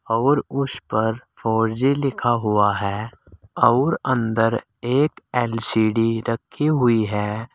और उस पर फोर जी लिखा हुआ है और अंदर एक एल_सी_डी रखी हुई है।